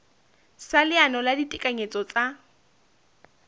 sa leano la ditekanyetso tsa